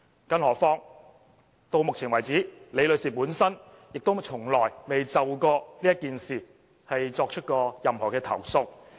更何況到目前為止，李女士本身也從來沒有就這件事作出任何投訴。